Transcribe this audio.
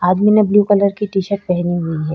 आदमी ने blue colour की टी-शर्ट पहनी हुई है।